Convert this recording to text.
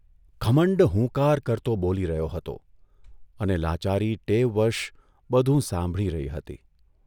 ઘમંડ હુંકાર કરતો બોલી રહ્યો હતો અને લાચારી ટેવવશ બધું સાંભળી રહી હતી.